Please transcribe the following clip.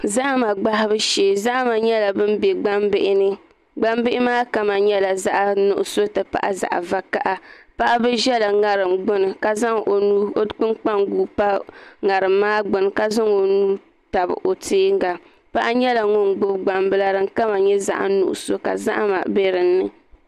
Zahama gbahabu shee zahama maa nyɛla bin bɛ gbambihi ni gbambihi maa kama nyɛla zaɣ nuɣso ti pahi zaɣ vakaɣa paɣaba ʒɛla ŋarim gbuni ka zaŋ o nuu pa ŋarim maa zuɣu ka zaŋ o nuu tabi o tiɛnga paɣa nyɛla ŋun gbubi gbambila din kama nyɛ zaɣ nuɣso ka zahama bɛ dinni